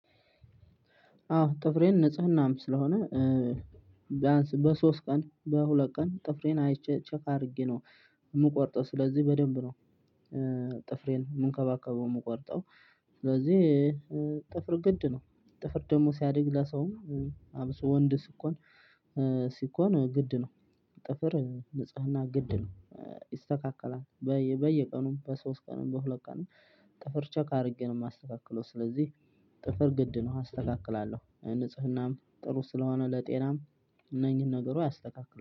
አዎ ጥፍሬን ንጽህናም ስለሆነ ቢያንስ በሶስት ቀን በሁለት ቀን ጥፍሬን አይቼ ቼክ አድርጌ ነው የምቆርጠው። ስለዚህ በደንብ ነው ጥፍሬን የምንከባከበው የምቆርጠው። ስለዚህ ጥፍር ግድ ነው ጥፍር ደግሞ ሲያድግ ለሰውም አብሶ ወንድ ስኮን ነው። ሲኮን ግድ ነው። ጥፍር ንጽህና ግድ ነው። ይስተካከላል በየቀኑም በሶስት ቀኑ በሁለት ቀኑ ጥፍር ቸክ አድርጌ ነው የማስተካክለው። ስለዚህ ጥፍር ግድ ነው አስተካክላለሁ ንጽህናም ጥሩ ስለሆነ ለጤናም እነኚህን ነገሩ ያስተካክላል